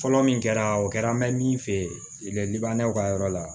Fɔlɔ min kɛra o kɛra an bɛ min feere liban ka yɔrɔ la